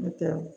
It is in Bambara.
N'o tɛ